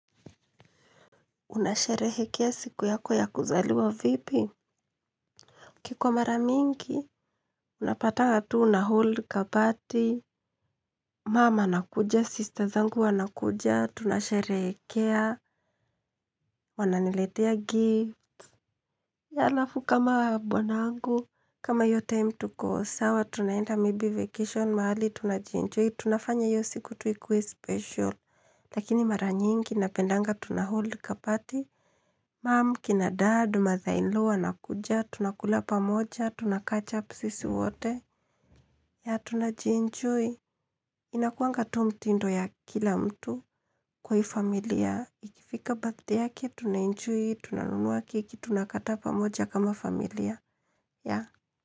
Unasherehekea siku yako ya kuzaliwa vipi? Kikwa mara mingi? Unapatanga tu unahold kaparty. Mama anakuja, sister zangu wanakuja, tunasherehekea, wananiletea gift. Alafu kama bwana wangu. Kama hiyo time tukosawa, tunaenda maybe vacation, mahali tunajienjoy, tunafanya hiyo siku tu ikuwe special. Lakini mara nyingi, napendanga tunahold kaparty. Mum, kina dad, mother in law wanakuja, tunakula pa moja, tunakach up sisi wote, na tunajienjoy Inakuanga tu mtindo ya kila mtu kwa hii familia, ikifika bathday yake, tunaenjoy, tunanunuwa keki, tunakata pamoja kama familia, ya.